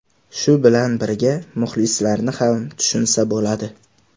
Shu bilan birga, muxlislarni ham tushunsa bo‘ladi.